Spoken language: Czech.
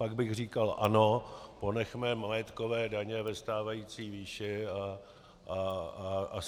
Pak bych říkal ano, ponechme majetkové daně ve stávající výši a